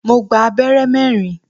Mo gba abẹ́rẹ́ mẹ́rin.